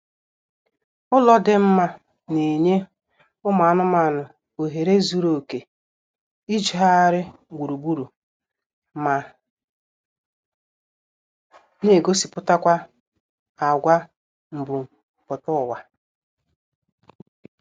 Ụlọ dị mma na-enye ụmụ anụmaanụ ohere zuru oké ijegharị gburugburu ma na-egosipụtakwa agwa mbumputaụwa